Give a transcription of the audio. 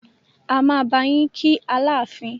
A máa bá yín kí Aláàfin.